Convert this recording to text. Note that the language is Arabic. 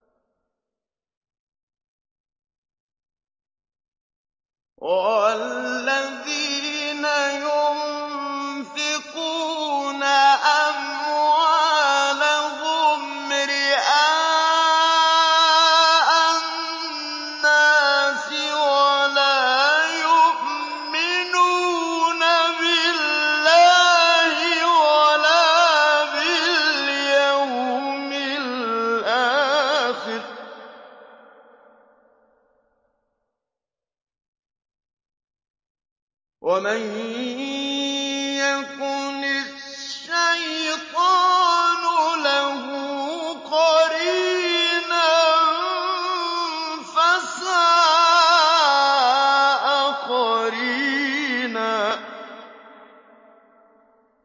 وَالَّذِينَ يُنفِقُونَ أَمْوَالَهُمْ رِئَاءَ النَّاسِ وَلَا يُؤْمِنُونَ بِاللَّهِ وَلَا بِالْيَوْمِ الْآخِرِ ۗ وَمَن يَكُنِ الشَّيْطَانُ لَهُ قَرِينًا فَسَاءَ قَرِينًا